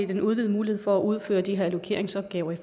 den udvidede mulighed for at udføre de her allokeringsopgaver i